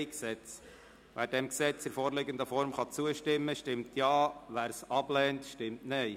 Wer dem Gesetz in der vorliegenden Form zustimmen kann, stimmt Ja, Wer es ablehnt, stimmt Nein.